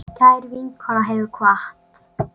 Kær vinkona hefur kvatt.